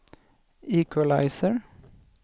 equalizer